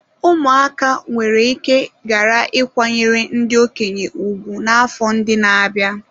Ụmụaka nwere ike ghara ịkwanyere ndị okenye ùgwù n'afọ ndị na-abịa.